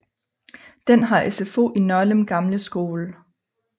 Den har SFO i Nørlem gamle skole